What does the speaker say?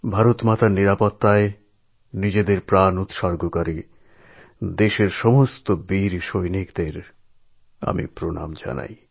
ভারতমাতাকে রক্ষা করার কাজে নিজের প্রাণ বলিদান দিচ্ছেন যাঁরা দেশের সেই সব বীর সুসন্তানদের প্রণাম জানাই